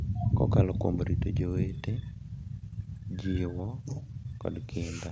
Kokalo kuom rito jowete, jiwo, kod kinda,